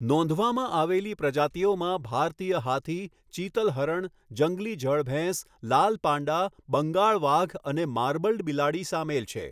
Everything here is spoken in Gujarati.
નોંધવામાં આવેલી પ્રજાતીઓમાં ભારતીય હાથી, ચીતલ હરણ, જંગલી જળ ભેંસ, લાલ પાંડા, બંગાળ વાઘ અને માર્બલ્ડ બિલાડી સામેલ છે.